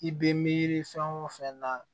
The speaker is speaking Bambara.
I bɛ miiri fɛn o fɛn na